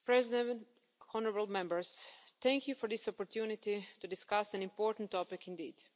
Madam President, honourable Members, thank you for this opportunity to discuss an important topic indeed.